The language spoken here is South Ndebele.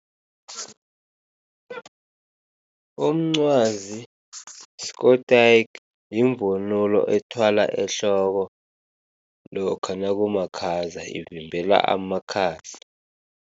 Umncwazi yiskotayiki, yimvunulo ethwalwa ehloko lokha nakumakhaza, ivimbela amakhaza.